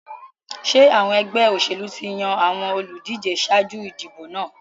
Ṣé àwọn ẹgbẹ́ òṣèlú ti yan àwọn olùdíje ṣáájú ìdìbò náà?